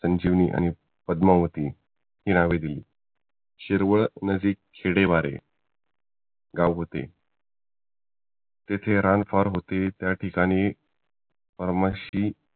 संजीवनी आणि पद्मावती हि नवे दिली शिरवळ नदी खेडेमारे गाव होते तिथे रान फार होते त्याठिकाणी ब्राम्हशी